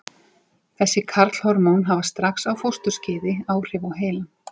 Þessi karlhormón hafa strax á fósturskeiði áhrif á heilann.